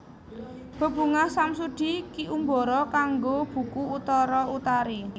Bebungah Samsudi Ki Umbara kanggo buku Utara Utari